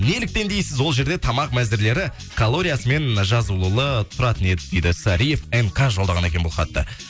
неліктен дейсіз ол жерде тамақ мәзірлері калориясымен жазулы тұратын еді дейді сариев м к жолдаған екен бұл хатты